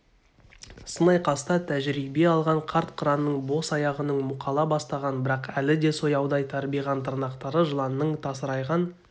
сын айқаста тәжірибе алған қарт қыранның бос аяғының мұқала бастаған бірақ әлі де сояудай тарбиған тырнақтары жыланның тасырайған